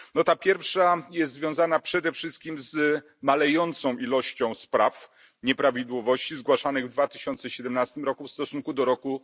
Ta pierwsza jest związana przede wszystkim z malejącą liczbą spraw, nieprawidłowości zgłaszanych w 2017 roku w stosunku do roku